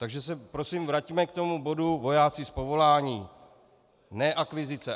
Takže se prosím vraťme k tomu bodu vojáci z povolání, ne akvizice.